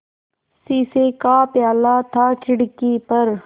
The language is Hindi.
शीशे का प्याला था खिड़की पर